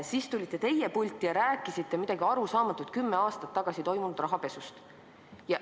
Siis tulite teie pulti ja rääkisite midagi arusaamatut kümme aastat tagasi toimunud rahapesust.